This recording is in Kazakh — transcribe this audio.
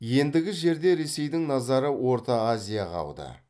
ендігі жерде ресейдің назары орта азияға ауды